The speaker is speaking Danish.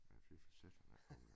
Ja fy for satan da